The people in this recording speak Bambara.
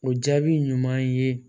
O jaabi ɲuman ye